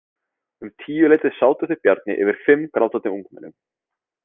Um tíuleytið sátu þau Bjarni yfir fimm grátandi ungmennum.